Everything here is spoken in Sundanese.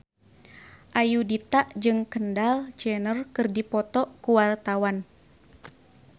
Ayudhita jeung Kendall Jenner keur dipoto ku wartawan